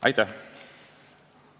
Aitäh!